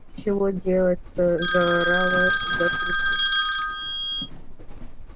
чего делать-то заорала я в трубку